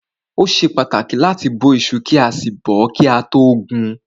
Ó ṣe pàtàkì láti bó iṣu kí a sì bọ́ọ́ kí a tó gun.